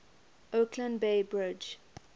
oakland bay bridge